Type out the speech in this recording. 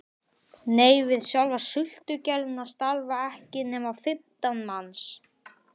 Nei, við sjálfa sultugerðina starfa ekki nema fimmtán manns